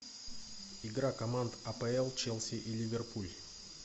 игра команд апл челси и ливерпуль